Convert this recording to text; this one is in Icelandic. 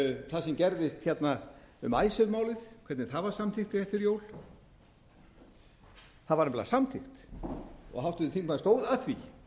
það sem gerðist um icesave málið hvernig það var samþykkt rétt fyrir jól það var nefnilega samþykkt og háttvirtur þingmaður stóð að því